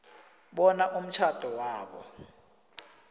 bona umtjhado wabo